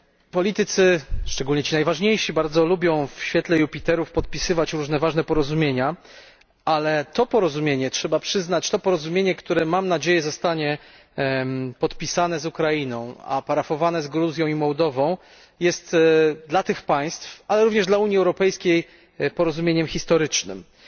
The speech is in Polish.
Politycy, szczególnie ci najważniejsi, bardzo lubią w świetle jupiterów podpisywać różne ważne porozumienia, ale trzeba przyznać, że to porozumienie, które mam nadzieję zostanie podpisane z Ukrainą a parafowane z Gruzją i Mołdową, jest dla tych państw, ale również dla Unii Europejskiej, porozumieniem o historycznym znaczeniu.